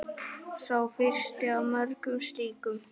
Sá fyrsti af mörgum slíkum.